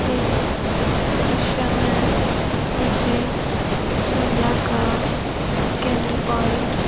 इस दृश्य में मुझे शिमला का स्कैंडल प्वाइंट --